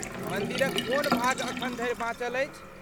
मन्दिरक कोन भाग अखन धरि बाँचल अछि?